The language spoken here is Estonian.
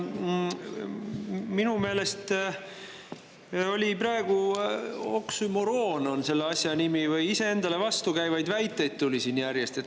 Minu meelest oli oksüümoron selle asja nimi, iseendale vastukäivaid väiteid tuli siin järjest.